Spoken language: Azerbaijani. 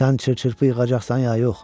Sən çırpı-çırpı yığacaqsan ya yox?